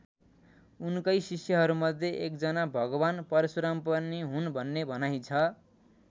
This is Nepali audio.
उनकै शिष्यहरूमध्ये एकजना भगवान परशुराम पनि हुन् भन्ने भनाइ छ।